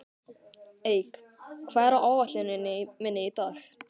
Eik, hvað er á áætluninni minni í dag?